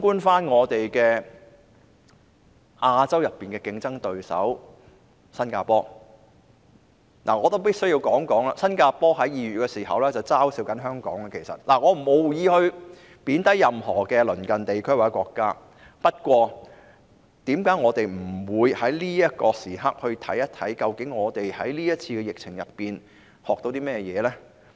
反觀亞洲區內的競爭對手新加坡——我必須說，新加坡在2月曾經嘲笑香港——我無意貶低任何鄰近地區或國家，但為何我們不趁這個時機，看看究竟我們在這次疫情中學到甚麼呢？